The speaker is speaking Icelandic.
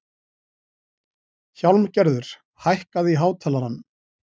Hjálmgerður, hækkaðu í hátalaranum.